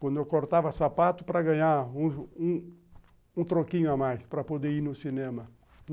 Quando eu cortava sapato para ganhar um troquinho a mais para poder ir no cinema.